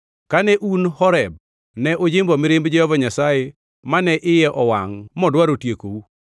Kane un Horeb ne ujimbo mirimb Jehova Nyasaye mane iye owangʼ modwaro tiekou.